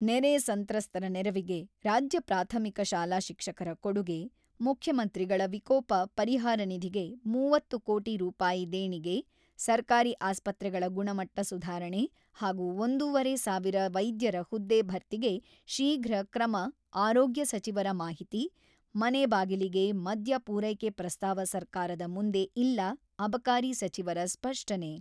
ನೆರೆ ಸಂತ್ರಸ್ತರ ನೆರವಿಗೆ ರಾಜ್ಯ ಪ್ರಾಥಮಿಕ ಶಾಲಾ ಶಿಕ್ಷಕರ ಕೊಡುಗೆ-ಮುಖ್ಯಮಂತ್ರಿಗಳ ವಿಕೋಪ ಪರಿಹಾರ ನಿಧಿಗೆ ಮೂವತ್ತು ಕೋಟಿ ರೂಪಾಯಿ ದೇಣಿಗೆ ಸರ್ಕಾರಿ ಆಸ್ಪತ್ರೆಗಳ ಗುಣಮಟ್ಟ ಸುಧಾರಣೆ ಹಾಗೂ ಒಂದೂವರೆ ಸಾವಿರ ವೈದ್ಯರ ಹುದ್ದೆ ಭರ್ತಿಗೆ ಶೀಘ್ರ ಕ್ರಮ-ಆರೋಗ್ಯ ಸಚಿವರ ಮಾಹಿತಿ, ಮನೆ ಬಾಗಿಲಿಗೆ ಮದ್ಯ ಪೂರೈಕೆ ಪ್ರಸ್ತಾವ ಸರ್ಕಾರದ ಮುಂದೆ ಇಲ್ಲ-ಅಬಕಾರಿ ಸಚಿವರ ಸ್ಪಷ್ಟನೆ.